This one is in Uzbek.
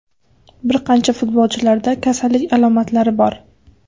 Bir qancha futbolchilarda kasallik alomatlari bor.